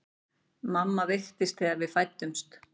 Mamma veiktist þegar við fæddumst.